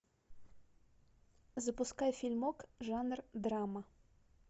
запускай фильмок жанр драма